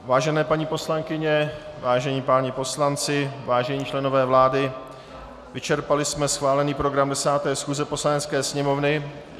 Vážené paní poslankyně, vážení páni poslanci, vážení členové vlády, vyčerpali jsme schválený program 10. schůze Poslanecké sněmovny.